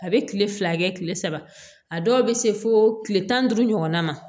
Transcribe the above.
A bɛ kile fila kɛ kile saba a dɔw bɛ se fo kile tan ni duuru ɲɔgɔnna ma